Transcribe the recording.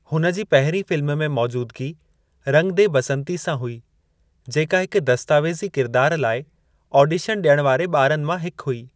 हुन जी पहिरीं फ़िल्म में मौजूदगी रंग दे बसंती सां हुई, जेका हिक दस्तावेज़ी किरिदार लाइ ऑडिशन ॾियण वारे ॿारनि मां हिकु हुई।